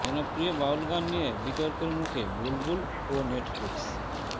জনপ্রিয় বাউল গান নিয়ে বিতর্কের মুখে বুলবুল ও নেটফ্লিক্স